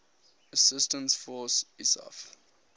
assistance force isaf